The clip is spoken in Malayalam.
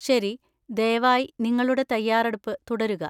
ശരി, ദയവായി നിങ്ങളുടെ തയ്യാറെടുപ്പ് തുടരുക.